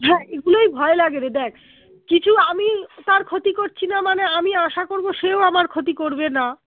হ্যাঁ এগুলোই ভয় লাগে রে দ্যাখ কিছু আমি তার ক্ষতি করছিনা মানে আমি আশা করবো সেও আমার ক্ষতি করবে না